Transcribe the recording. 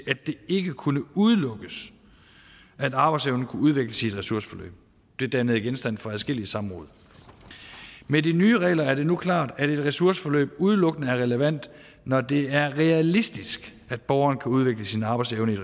ikke kunne udelukkes at arbejdsevnen kunne udvikles i et ressourceforløb det dannede genstand for adskillige samråd med de nye regler er det nu klart at et ressourceforløb udelukkende er relevant når det er realistisk at borgeren kan udvikle sin arbejdsevne i